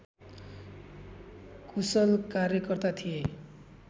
कुशल कार्यकर्ता थिए